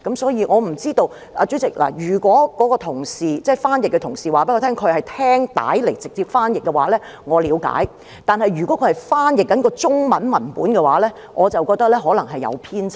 所以，主席，我不知道，如果該名翻譯同事告訴我他是聽錄音片段直接翻譯的話，我了解；但如果他是翻譯中文文本的話，我便覺得可能會出現偏差。